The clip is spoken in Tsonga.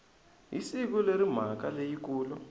hi siku leri mhaka leyikulu